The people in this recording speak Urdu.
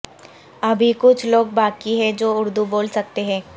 ابھی کچھ لوگ باقی ہیں جو اردو بول سکتے ہیں